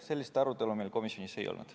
Sellist arutelu meil komisjonis ei olnud.